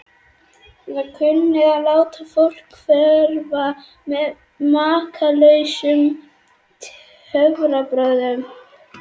Eða kunnað að láta fólk hverfa með makalausum töfrabrögðum.